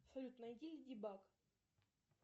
салют найди леди баг